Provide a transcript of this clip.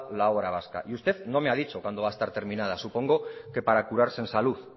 la obra vasca y usted no me ha dicho cuándo va a estar terminada supongo que para curarse en salud